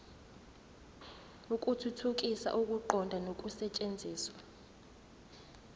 ukuthuthukisa ukuqonda nokusetshenziswa